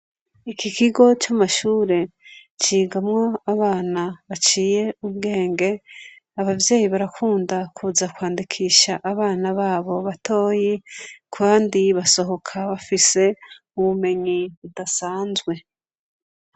Iki kigo c'amashure cigamwo abana baciye ubwenge, abavyeyi barakunda kwandikisha abana babo batoyi Kandi basohoka bafise ubumenyi budasanzwe.